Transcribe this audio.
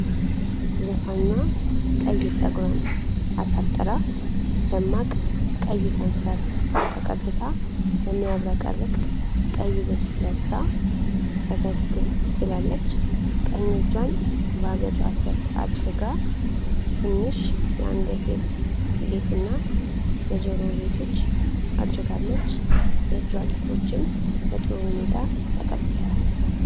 ዘፋኟ ቀይ ፀጉሯን አሳጥራ ደማቅ ቀይ ከንፈር ተቀብታ፣ በሚያብረቀርቅ ቀይ ልብስ ለብሳ ፈገግ ብላለች። ቀኝ እጇን በአገጯ ስር አድርጋ፣ ትንሽ የአንገት ጌጥና የጆሮ ጌጦች አድርጋለች። የእጇ ጥፍሮችም በጥሩ ሁኔታ ተቀብተዋል።